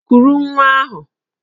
Kuru nwa ahụ!